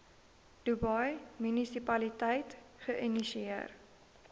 dubai munisipaliteit geïnisieer